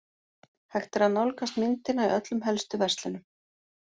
Hægt er að nálgast myndina í öllum helstu verslunum.